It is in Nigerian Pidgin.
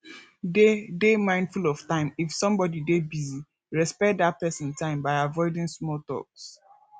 dey dey mindful of time if somebody dey busy respect dat person time by avoiding small talks